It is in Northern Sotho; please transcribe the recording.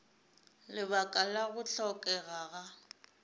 lebaka la go hlokega ga